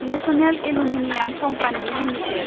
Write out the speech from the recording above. national aluminium company limited